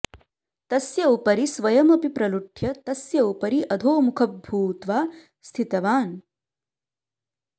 तस्य उपरि स्वयमपि प्रलुठ्य तस्य उपरि अधोमुखः भूत्वा स्थितवान्